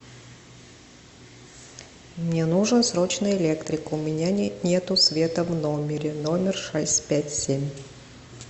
мне нужен срочно электрик у меня нету света в номере номер шесть пять семь